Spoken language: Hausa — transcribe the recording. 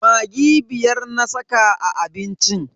Maggi biyar na saka a abincin.